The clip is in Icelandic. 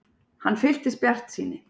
Hann fylltist bjartsýni.